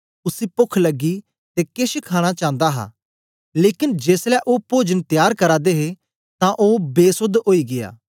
उसी पोख लगी ते केछ खाणा चांदा हा लेकन जेसलै ओ पोजन त्यार करा दे हे तां ओ बेसोध ओई गीया